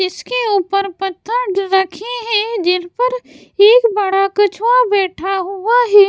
जिसके ऊपर पत्थर ज रखे हैं जिन पर एक बड़ा कछुआ बैठा हुआ है।